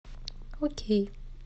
окей